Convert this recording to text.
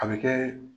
A bɛ kɛ